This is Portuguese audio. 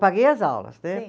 Paguei as aulas, né?